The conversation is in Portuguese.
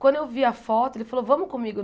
Quando eu vi a foto, ele falou, vamos comigo.